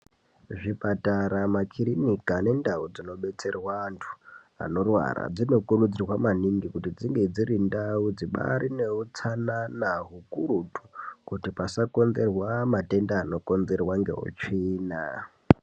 Zvipatara makirinika nendau dzinodetserwa antu anorwara dzinokirudzirwa maningi kuti dzinge dziri ndau dzibaarineutsanana ukurutu kuti pasakonzerwa matenda anokonzerwa ngeutsvina